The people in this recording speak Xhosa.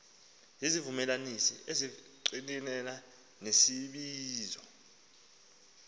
zizivumelanisi ezingqinelana nesibizo